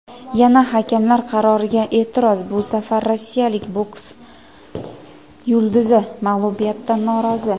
Yana hakamlar qaroriga e’tiroz: bu safar rossiyalik boks yulduzi mag‘lubiyatdan norozi.